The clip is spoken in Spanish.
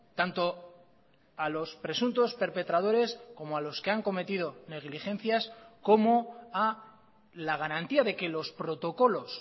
tanto a los presuntos perpetradores como a los que han cometido negligencias como ha la garantía de que los protocolos